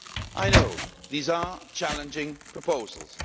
I know these are challenging proposals